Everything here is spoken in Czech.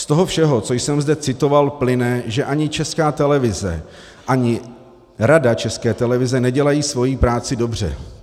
Z toho všeho, co jsem zde citoval, plyne, že ani Česká televize, ani Rada České televize nedělají svoji práci dobře.